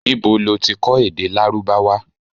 Nibo lo ti kọ èdè Lárúbáwá?